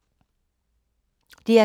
DR K